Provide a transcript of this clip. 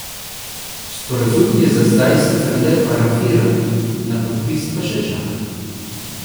Sporazum je za zdaj sicer le parafiran, na podpis pa še čaka.